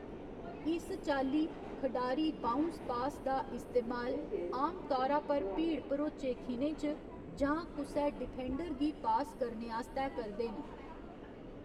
इस चाल्ली, खडारी बाउंस पास दा इस्तेमाल आमतौरा पर भीड़ भरोचे खिनें च, जां कुसै डिफेंडर गी पास करने आस्तै करदे न।